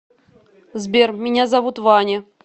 сбер меня зовут ваня